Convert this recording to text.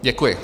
Děkuji.